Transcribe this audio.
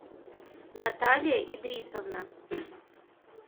наталья идрисовна